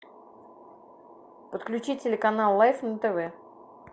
подключи телеканал лайф на тв